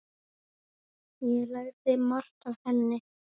Ég lærði margt af henni.